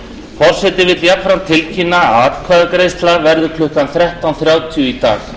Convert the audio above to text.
forseti vill jafnframt tilkynna að atkvæðagreiðsla verður klukkan þrettán þrjátíu í dag